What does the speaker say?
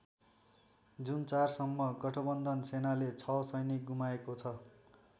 जुन ४ सम्म गठबन्धन सेनाले ६ सैनिक गुमाएको छ।